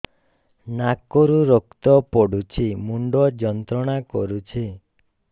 ନାକ ରୁ ରକ୍ତ ପଡ଼ୁଛି ମୁଣ୍ଡ ଯନ୍ତ୍ରଣା କରୁଛି